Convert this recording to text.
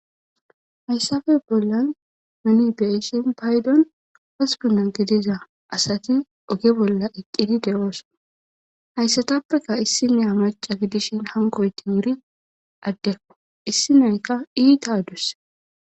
Hayssafe bollan meni beishin paydon haspina gideza asati oge bolla eqqidi de7ooson hayssatappeka issi nea maca gidishin hankoytin yiri addekko issi nayka iita adusse.